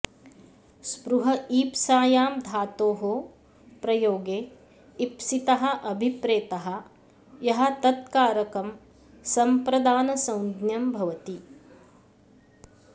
स्पृह ईप्सायां धातोः प्रयोगे ईप्सितः अभिप्रेतः यः तत्कारकं संप्रदानसंज्ञं भवति